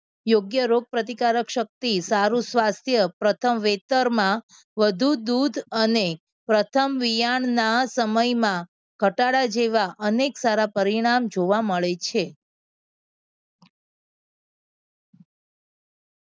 યોગ્ય રોગપ્રતિકારક શક્તિ, સારુ સ્વાસ્થ્ય પ્રથમ, વેતરમાં વધુ દૂધ અને પ્રથમ યાનના સમયમાં ઘટાડા જેવા અનેક સારા પરિણામ જોવા મળે છે